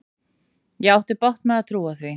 Ég átti bágt með að trúa því.